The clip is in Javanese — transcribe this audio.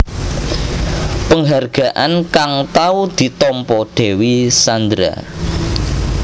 Penghargaan kang tau ditampa Dewi Sandra